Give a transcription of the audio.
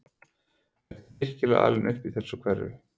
Ertu virkilega alinn upp í þessu umhverfi?